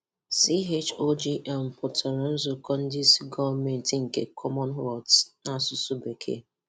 CHOGM pụtara nzukọ ndị isi gọọmenti ndị isi gọọmenti nke Commonwealth n’asụsụ Bekee.